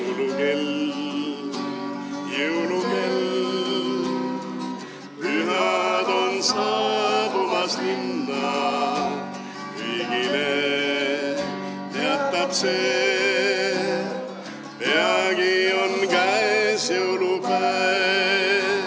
: Jõulukell, jõulukell, pühad on saabumas linna, kõigile teatab see, peagi on käes jõulupäev.